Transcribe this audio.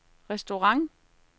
restaurant